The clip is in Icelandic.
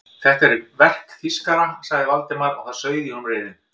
Þetta er verk þýskara sagði Valdimar og það sauð í honum reiðin.